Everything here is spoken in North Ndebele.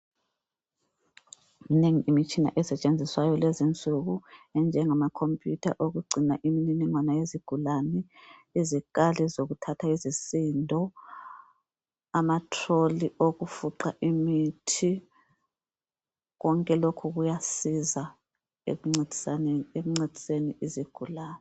Minengi imitshina esetshenziswayo lezinsuku enjengama khompuyutha okugcina imililingwana yezigulane. Izikali zokuthatha izisindo, ama tiroli okufuqa imithi. Konke lokhu kuyasiza ekuncediseni izigulane.